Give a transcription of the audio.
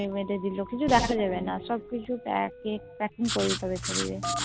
বেঁধে দিলো কিছু দেখা যাবেনা সবকিছু Packing করে দিতো হবে শরীরে